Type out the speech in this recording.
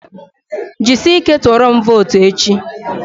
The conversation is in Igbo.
Ji sị ike tụọrọm votu echi!